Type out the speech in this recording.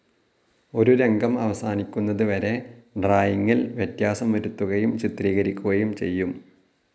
ഒരു രംഗം അവസാനിക്കുന്നതു വരെ ഡ്രായിങ്ങിൽ വ്യത്യാസം വരുത്തുകയും ചിത്രീകരിക്കുകയും ചെയ്യും.